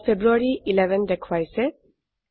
ইয়াত ফেব্ৰুয়াৰী 11 দেখাইছে